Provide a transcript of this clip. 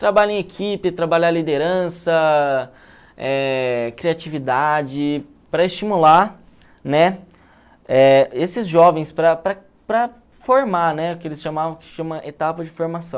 Trabalhar em equipe, trabalhar liderança, eh criatividade, para estimular, né, eh esses jovens para para para formar, né, que eles de etapa de formação.